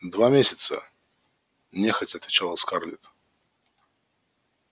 два месяца нехотя отвечала скарлетт